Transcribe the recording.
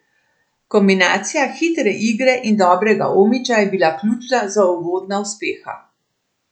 Kombinacija hitre igre in dobrega Omića je bila ključna za uvodna uspeha.